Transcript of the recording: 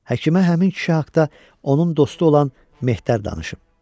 Həkimə həmin kişi haqda onun dostu olan Mehdar danışım.